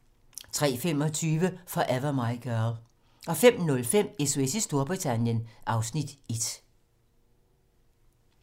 03:25: Forever My Girl 05:05: SOS i Storbritannien (Afs. 1)